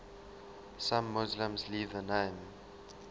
some muslims leave the name